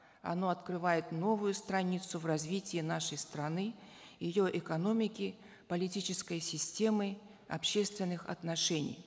оно открывает новую страницу в развитии нашей страны ее экономики политической системы общественных отношений